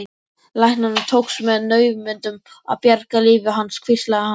Læknunum tókst með naumindum að bjarga lífi hans hvíslaði hann.